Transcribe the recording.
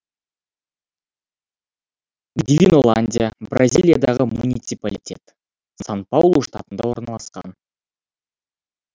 дивиноландия бразилиядағы муниципалитет сан паулу штатында орналасқан